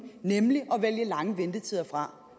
nemlig at vælge lange ventetider fra